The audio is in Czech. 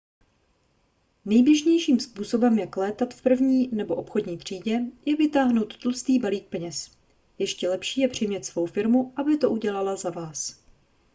nejběžnějším způsobem jak létat v první nebo obchodní třídě je vytáhnout tlustý balík peněz ještě lepší je přimět svou firmu aby to udělala za vás